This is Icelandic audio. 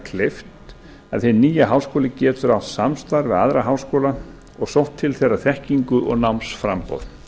kleift að hinn nýi háskóli getur átt samstarf við aðra háskóla og sótt til þeirra þekkingu og námsframboð